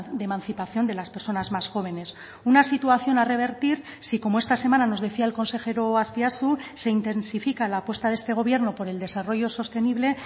de emancipación de las personas más jóvenes una situación a revertir si como esta semana nos decía el consejero azpiazu se intensifica la apuesta de este gobierno por el desarrollo sostenible